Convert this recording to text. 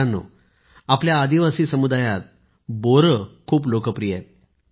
मित्रांनो आपल्या आदिवासी समुदायात बोरे खूप लोकप्रिय आहेत